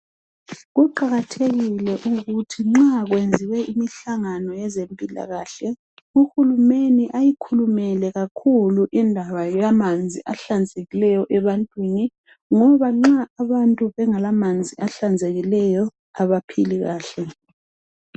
Kuqakathekile ukuthi nxa kwenziwe imihlangano yezempilakahle uhulumende ayikhulumele kakhulu indaba yamanzi ahlanzekileyo ebantwini ngoba nxa abantu bengelamanzi ahlanzekileyo abaphili kahle.